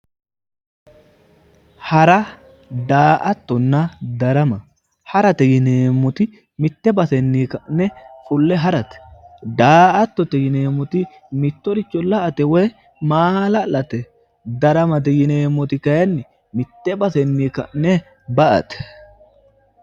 Hara, daa"attonna darama, harate yinneemmoti mite baseni ka'ne fule harate, daa"attote yinneemmoti mittoricho la"ate woyi maala'late, daramate yinneemmoti kayinni mite basenni ka'ne ba"ate